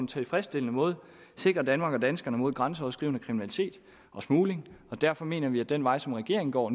tilfredsstillende måde sikrer danmark og danskerne mod grænseoverskridende kriminalitet og smugling og derfor mener vi at den vej som regeringen går